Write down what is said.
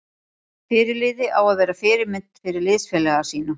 Fyrirliði á að vera fyrirmynd fyrir liðsfélaga sína.